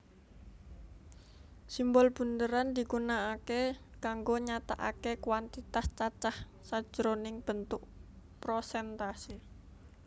Simbol bunderan digunakake kanggo nyatakake kuantitas cacah sajroning bentuk prosèntase